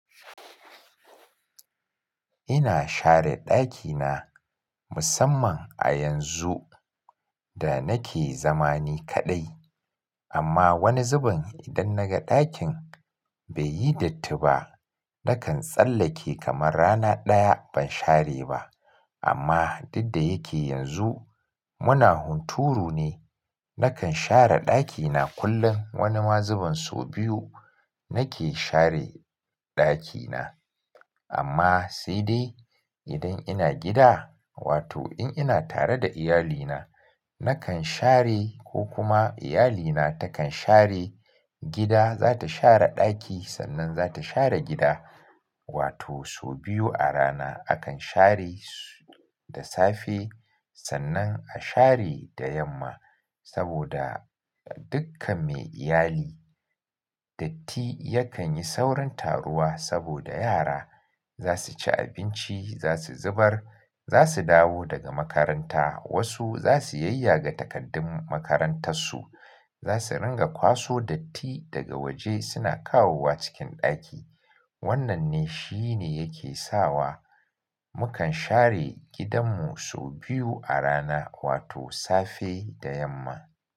Ina share ɗakina musamman a yanzu da, nake zama ni kaɗai. Amma wani zubin, idan naga ɗakin baiyi datti ba, nakan tsallake kamar rana ɗaya ban share ba. Amma, duk da yake yanzu, muna hunturu ne, nakan share ɗakina kullum. Wani ma zubun so biyu, nake share ɗakina. Amma sai dai idan ina gida, wato in ina tare da iyalina, nakan share ko kuma iyalina takan share gida, zata share ɗaki sannan zata share gida. Wato so biyu a rana. Akan share da safe sannan a share da yamma. Saboda dukkan me iyali, datti yakan yi saurin taruwa, saboda yara za su ci abinci, za su zubar, za su dawo daga makaranta, Wasu za su yayyaga takardun makarantar su, za su ringa kwaso datti daga waje suna kawowa cikin ɗaki. Wannan ne shi ne yake sawa, mukan share gidanmu so biyu a rana, wato safe da yamma.